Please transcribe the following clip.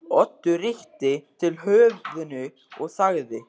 Oddur rykkti til höfðinu og þagði.